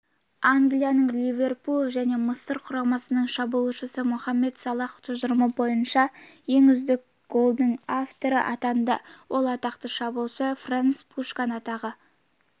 англияның ливерпуль және мысыр құрамасының шабуылшысы мохамед салах тұжырымы бойынша ең үздік голдың авторы атанды ол атақты шабуылшы ференц пушкаш атындағы